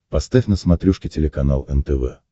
поставь на смотрешке телеканал нтв